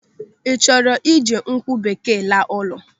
Ị chọrọ iji nkwụ bekee laa ụlọ?